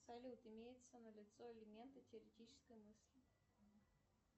салют имеется на лицо элементы теоретической мысли